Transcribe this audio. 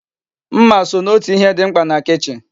Mma so n'otu ihe di mkpa na kichin